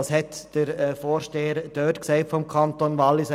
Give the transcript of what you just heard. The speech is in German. Was hat der Vorsteher aus dem Kanton Wallis gesagt?